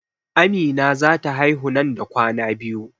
Amina za ta haihu nan da kwana biyu